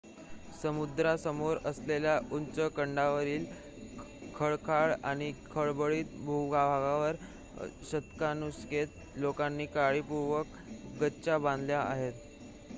समुद्रासमोर असलेल्या उंच कड्यांवरील खडकाळ आणि खडबडीत भूभागावर शतकानुशतके लोकांनी काळीपूर्वक गच्च्या बांधल्या आहेत